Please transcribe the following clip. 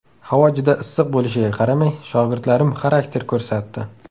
Havo juda issiq bo‘lishiga qaramay, shogirdlarim xarakter ko‘rsatdi.